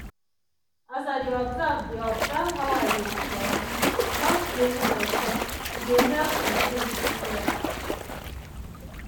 as i dey observe dey observe how i dey feel[um]without blaming myself e dey help my brain think well